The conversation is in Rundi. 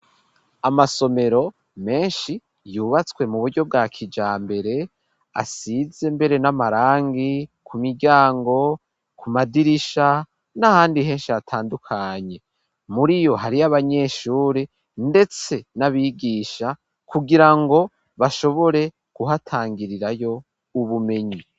Amasomero menshi yubatswe mu buryo bwa kijambere, asize mbere n'amarangi ku miryango, ku madirisha n'ahandi henshi hatandukanye, muri iyo hari y'abanyeshuri ndetse n'abigisha kugira ngo bashobore guhatangirirayo ubumenyi.